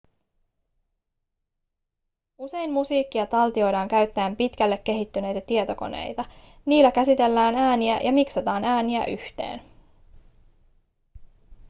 usein musiikkia taltioidaan käyttäen pitkälle kehittyneitä tietokoneita niillä käsitellään ääniä ja miksataan ääniä yhteen